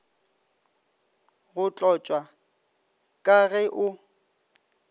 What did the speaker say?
go tlošwa ka ge o